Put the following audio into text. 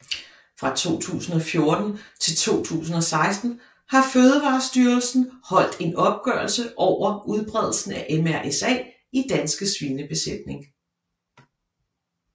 Fra 2014 til 2016 har Fødevarestyrelsen holdt en opgørelse over udbredelsen af MRSA i danske svinebesætninger